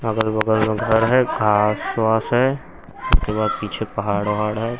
अगल बगल में घर है घास वास है उसके बाद पीछे पहाड़ वहाड़ है।